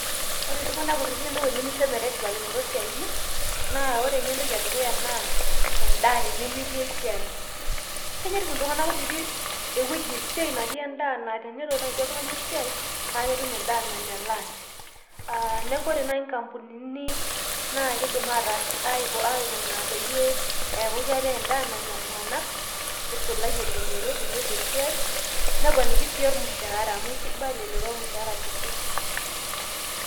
ore iltung'anak kutitik entoki nimisho metishipakinoto isiaitin naa ore ninye entoki e dukuya naa endaa tenemetii esiai, kenyorr iltung'anak kutitik ewueji esiai natii endaa naa tenelo naaji oltung'ani esiai naa ketum endaa nanya lunch aa neeku ore naaji inkampunini naa kidim ataas aikuna peyie eeku keetay endaa nanya iltung'anak nisulaki elelero tenepuo esiai neponiki sii ormushaara amu kiba e lelero ormushaara kiti.